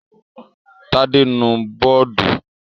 Tádé nu bọ́ọ́dù.